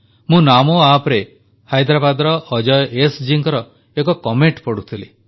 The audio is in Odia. ମୁଁ ନାମୋ Appରେ ହାଇଦ୍ରାରାବାଦର ଅଜୟ ଏସ୍ ଜୀଙ୍କ ଏକ ମନ୍ତବ୍ୟ ପଢ଼ୁଥିଲି